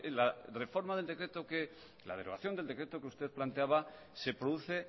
es que la derogación del decreto que usted planteaba se produce